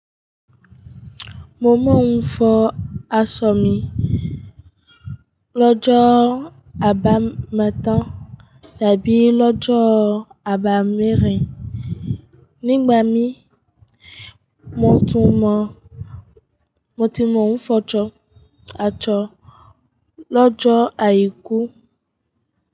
Mo máa ń fọ asọ mi lọ́jọ́ àbámẹ́ta tàbí lọ́jọ́ àbámẹ́rin. Nígbà mí, mo tún mọ̀, mo ti mọ̀ ń fọ aṣọ lọ́jọ́ àìkú.